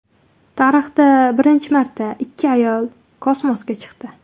Tarixda birinchi marta ikki ayol kosmosga chiqdi.